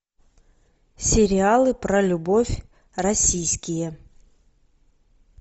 сериалы про любовь российские